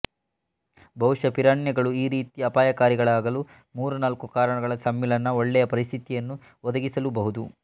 ಬಹುಶ ಪಿರಾನ್ಯಗಳು ಈ ರೀತಿ ಅಪಾಯಕಾರಿಗಳಾಗಲು ಮೂರು ನಾಲ್ಕು ಕಾರಣಗಳ ಸಮ್ಮಿಳನ ಒಳ್ಳೆಯ ಪರಿಸ್ಥಿತಿಯನ್ನು ಒದಗಿಸಲುಬಹುದು